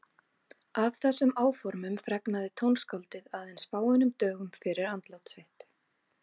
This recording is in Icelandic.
Af þessum áformum fregnaði tónskáldið aðeins fáeinum dögum fyrir andlát sitt.